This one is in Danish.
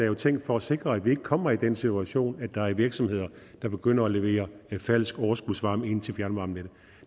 jo tænkt for at sikre at vi ikke kommer i den situation at der er virksomheder der begynder at levere falsk overskudsvarme til fjernvarmenettet